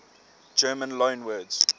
german loanwords